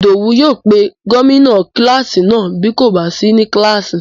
Ìdòwú yóò pe gómìnà kílásì náà bí kò bá sí ní kílásì